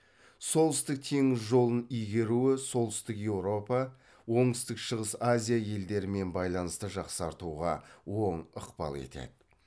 солтүстік теңіз жолын игеруі солтүстік еуропа оңтүстік шығыс азия елдерімен байланысты жақсартуға оң ықпал етеді